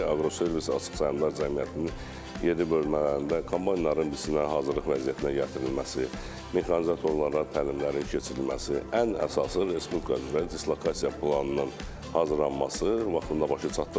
Aqroservis Açıq Səhmdar Cəmiyyətinin yeddi bölmələrində kombaynlara biçinə hazırlıq vəziyyətinə gətirilməsi, mexanizatorlara təlimlərin keçirilməsi, ən əsası Respublika üzrə dislokasiya planının hazırlanması vaxtında başa çatdırılıbdır.